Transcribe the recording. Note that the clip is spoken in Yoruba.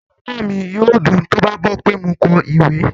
Inú bàbá mi yóò dùn tó bá gbọ́ pé mo kọ ìwé